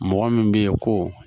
Mɔgɔ min bɛ ye ko